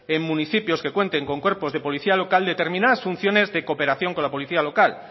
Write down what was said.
en municipios que cuenten con cuerpos de policía local determinadas funciones de cooperación con la policía local